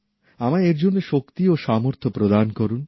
আমায় এর জন্য শক্তি ও সামর্থ্য প্রদান করুন